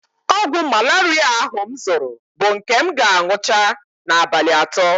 Ọgwụ malaria ahụ m zụrụ bụ nke m ga-aṅụcha n'abalị atọ